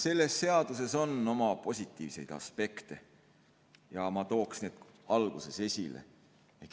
Selles seaduses on oma positiivseid aspekte ja ma tooksin need alguses esile.